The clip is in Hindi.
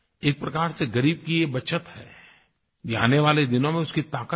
एक प्रकार से ग़रीब की ये बचत है ये आने वाले दिनों में उसकी ताक़त है